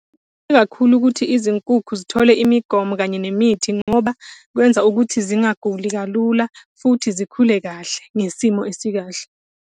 ukuthi izinkukhu zithole imigomo kanye nemithi ngoba kwenza ukuthi zingaguli kalula, futhi zikhule kahle, ngesimo esikahle.